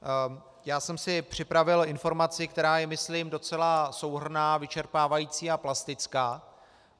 Já jsem si připravil informaci, která je myslím docela souhrnná, vyčerpávající a plastická.